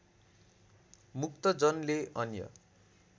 मुक्तजनले अन्य